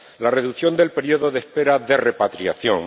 la reducción del periodo de espera de repatriación